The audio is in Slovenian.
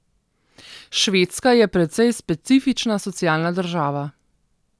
Švedska je precej specifična socialna država.